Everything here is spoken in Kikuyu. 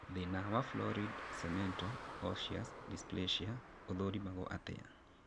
Thĩna wa florid cemento osseous dysplasia ũthũrimagwo atĩa?